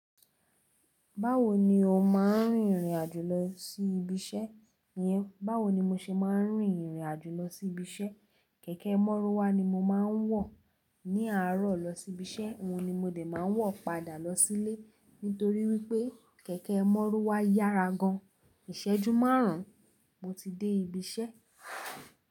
Báwo ni ó máa ń rìnrìn àjò lọ sí ibi iṣẹ́ yẹn? Báwo ni mo ṣe máa ń rìnrìn àjò lọ sí ibi iṣẹ́? Kẹ̀kẹ́ mọ́rúwà ni mo máa ń wọ̀ ní àárọ̀ lọ sí ibi iṣẹ́, òun ni mo dè máa ń wọ̀ padà lọ sílé. Nítorí wípé kẹ̀kẹ́ mọ́rúwà yára gan. Ìṣẹ́jú márùn-ún mo ti dé ibi iṣẹ́.